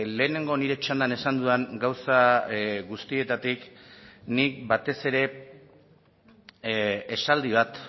lehenengo nire txandan esan dudan gauza guztietatik nik batez ere esaldi bat